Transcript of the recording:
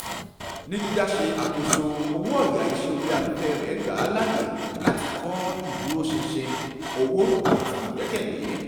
ní dídá se àkóso owó-ọ̀yà iṣé orí afẹ́fẹ́ rẹ gba láàyè láti kọ iduroṣinṣin owó àti ìgbẹ́kẹ̀lé